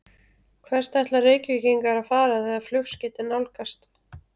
Hvert ætla Reykvíkingar að fara þegar flugskeytin nálgast?